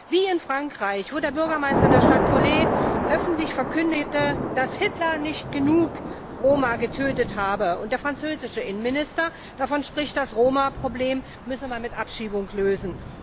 Wie in Frankreich, wo der Bürgermeister der Stadt Cholet öffentlich verkündete, dass Hitler nicht genug Roma getötet habe, und der französische Innenminister davon spricht, das Roma Problem müsse man mit Abschiebung lösen.